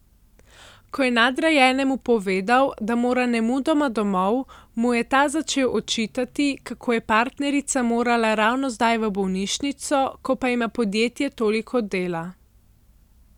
Ko je nadrejenemu povedal, da mora nemudoma domov, mu je ta začel očitati, kako je partnerica morala ravno zdaj v bolnišnico, ko pa ima podjetje toliko dela.